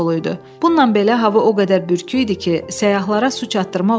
Bununla belə hava o qədər bürküyüdü ki, səyyahlara su çatdırmaq olmurdu.